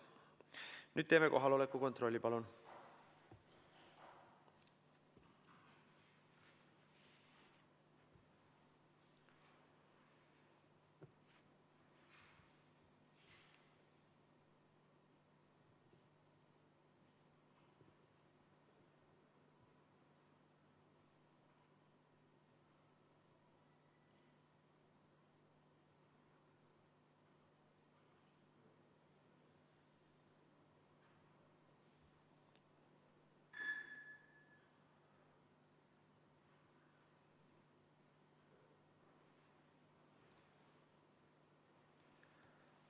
Nüüd teeme kohaloleku kontrolli, palun!